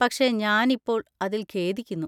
പക്ഷെ, ഞാനിപ്പോൾ അതിൽ ഖേദിക്കുന്നു.